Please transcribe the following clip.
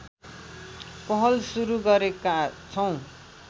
पहल सुरू गरेका छौँ